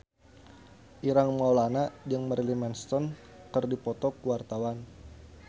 Ireng Maulana jeung Marilyn Manson keur dipoto ku wartawan